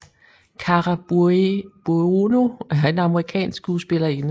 Cara Buono er en amerikansk skuespillerinde